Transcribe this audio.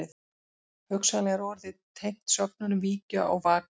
Hugsanlega er orðið tengt sögnunum víkja og vaka.